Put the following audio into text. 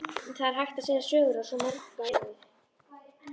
Það er hægt að segja sögur á svo marga vegu.